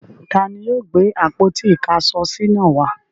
Ta ni yóò gbé àpótí-ìkáṣọsí náà wá?